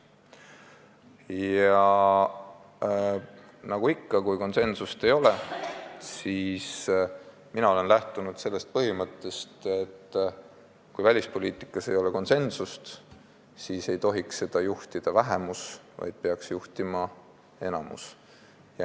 Ja nagu ikka, kui konsensust ei ole, siis mina olen lähtunud sellest põhimõttest, et kui välispoliitikas ei ole konsensust, siis ei tohiks seda juhtida vähemus, vaid peaks juhtima enamus.